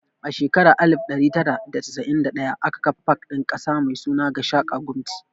A shekara ta alif ɗari tara da casa'in da ɗaya aka kafa pak ɗin ƙasa mai suna 'Gashaka Gumti'.